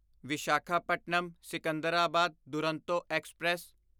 Visakhapatnam Secunderabad Duronto express